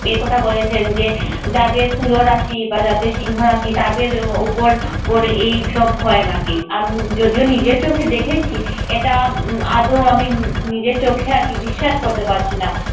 এ কথা বলেছেন যে যাদের তুলো রাশি বা যাদের সিংহ রাশি তাদের উপর উপর এইসব হয় নাকি আম~ যদিও নিজের চোখে দেখেছি এটা উম আদো আমি উম উম নিজের চোখকে বিশ্বাস করতে পারছি না।